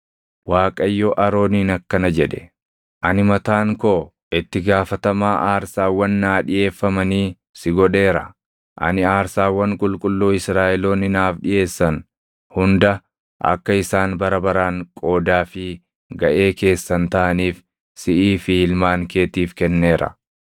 Waaqayyo Arooniin akkana jedhe; “Ani mataan koo itti gaafatamaa aarsaawwan naa dhiʼeeffamanii si godheera; ani aarsaawwan qulqulluu Israaʼeloonni naaf dhiʼeessan hunda akka isaan bara baraan qoodaa fi gaʼee keessan taʼaniif siʼii fi ilmaan keetiif kenneera.